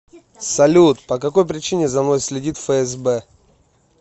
салют по какой причине за мной следит фсб